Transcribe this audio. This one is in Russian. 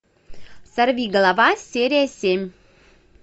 сорвиголова серия семь